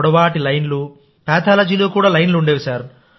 పొడవాటి లైన్లు పాథాలజీలో కూడా లైన్లు ఉండేవి